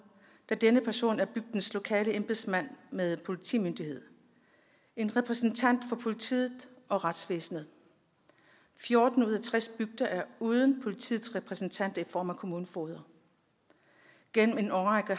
da denne person er bygdens lokale embedsmand med politimyndighed en repræsentant for politiet og retsvæsenet fjorten ud af tres bygder er uden politiets repræsentant i form af en kommunefoged gennem en årrække